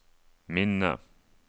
minne